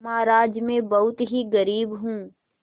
महाराज में बहुत ही गरीब हूँ